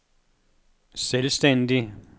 selvstændig